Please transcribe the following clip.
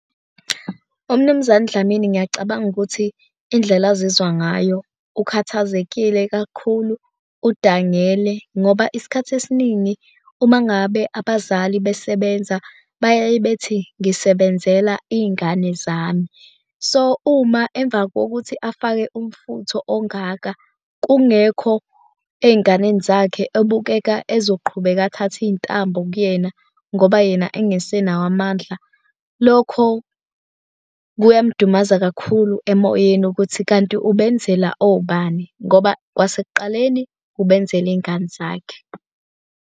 UMnumzane uDlamini ngiyacabanga ukuthi indlela azizwa ngayo, ukhathazekile kakhulu, udangele ngoba isikhathi esiningi uma ngabe abazali besebenza bayaye bethi ngisebenzela iy'ngane zami. So, uma emva kokuthi afake umfutho ongaka kungekho ey'nganeni zakhe obukeka ezoqhubeka, athathe iy'ntambo kuyena ngoba yena engasenayo amandla, lokho kuyamudumaza kakhulu emoyeni ukuthi kanti ubenzele obani, ngoba kwasekuqaleni ubenzele iy'ngane zakhe.